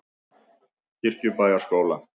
Kirkjubæjarskóla